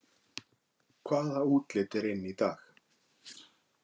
Hvaða útlit er inn í dag